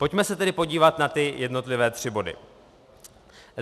Pojďme se tedy podívat na ty jednotlivé tři body.